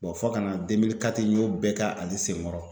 fo ka na n y'o bɛɛ k'ale senkɔrɔ